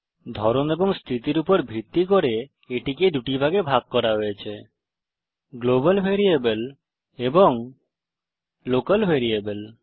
ধরন এবং স্থিতির উপর ভিত্তি করে এটিকে দুটি ভাগে ভাগ করা হয়েছে গ্লোবাল ভ্যারিয়েবল এবং লোকাল ভ্যারিয়েবল